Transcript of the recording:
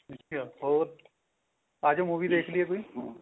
ਅੱਛਿਆ ਹੋਰ ਆਜੋ movie ਦੇਖ ਲਈਏ ਕੋਈ